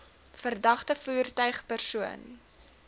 verdagte voertuig persoon